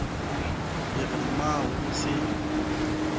ke re mmao o se